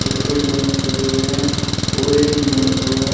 Paper diamond लगे हुए हैं और एक डिजाइन बना हुआ है।